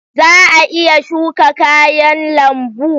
Za a iya shuka kayan lambu?